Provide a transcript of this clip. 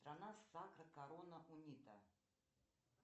страна сакра корона унита